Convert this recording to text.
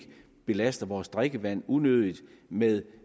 belaster vores drikkevand unødigt med